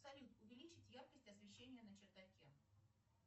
салют увеличить яркость освещения на чердаке